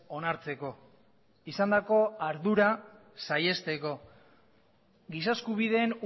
onartzeko izandako ardura saihesteko giza eskubideen